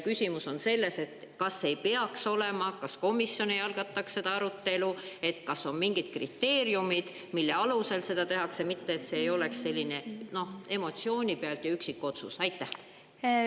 Küsimus on selles – äkki komisjon algataks arutelu –, kas on mingid kriteeriumid, mille alusel seda tehakse, et see ei oleks emotsiooni pealt üksikotsus.